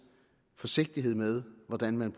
forsigtighed med hvordan man